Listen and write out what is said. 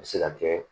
A bɛ se ka kɛ